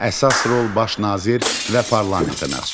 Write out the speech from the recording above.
Əsas rol baş nazir və parlamentə məxsusdur.